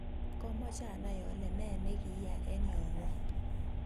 Komoche anai ole nee ni kiyaa eng yoo ng'wong.